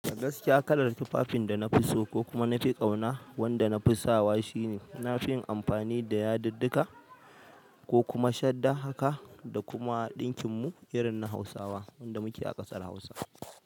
Gaskiya kalar tufafin da na fi so ko kuma na fi ƙauna wanda na fi sawa shine na fin amfani da yadidika ko kuma shadda haka da kuma ɗinkin mu irin na hausawa wanda muke a ƙasar hausa.